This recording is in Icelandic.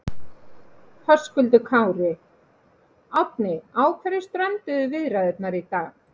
Höskuldur Kári: Árni á hverju strönduðu viðræðurnar í dag?